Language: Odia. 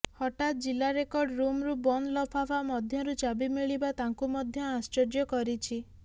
ହଠାତ୍ ଜିଲ୍ଲା ରେକର୍ଡ଼ ରୁମରୁ ବନ୍ଦ ଲଫାଫା ମଧ୍ୟରୁ ଚାବି ମିଳିବା ତାଙ୍କୁ ମଧ୍ୟ ଆଶ୍ଚର୍ଯ୍ୟ କରିଛି